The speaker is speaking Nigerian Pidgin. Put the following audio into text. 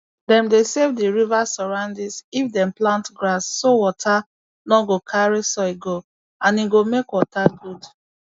dem dey save d river surroundings if dem plant grass so water no go carry soil go and e go make water good